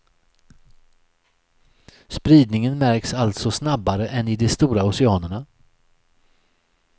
Spridningen märks alltså snabbare än i de stora oceanerna.